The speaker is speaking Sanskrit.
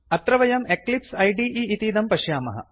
अत्र वयं एक्लिप्स इदे इतीदं पश्यामः